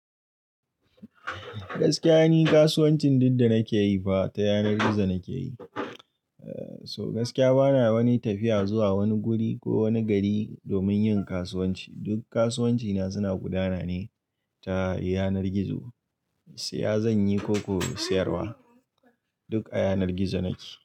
Gaskiya ni kasuwancin duk da nake yi fa ta yanar gizo nake yi. So gaskiya bana wani tafiya zuwa wani guri ko wani gari domin yin kasuwanci. Duk kasuwanci na suna gudana ne ta yanar gizo, siya zan yi ko kuwa sayarwa, duk a yanar gizo nake.